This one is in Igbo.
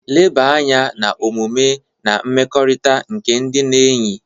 Leba anya na omume na mmekọrịta nke ndị na-eyi.